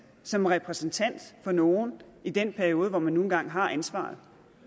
som repræsentant for nogle i den periode hvor man nu engang har ansvaret